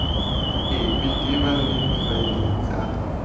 epe tebang le difaele tsa